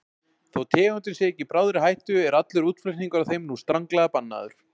Þó tegundin sé ekki í bráðri hættu er allur útflutningur á þeim nú stranglega bannaður.